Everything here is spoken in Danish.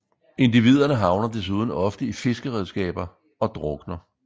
Individerne havner desuden ofte i fiskeredskaber og drukner